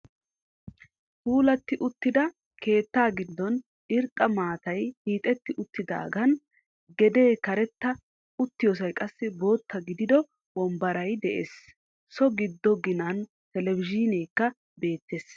Puulati uttida keettaa giddon irxxa maatay hiixxetti uttidaagan gede karetta uttiyossay qassi bootta gidido wonbbaray de'ees. So giddo ginaan telebbizhiineekka beettees.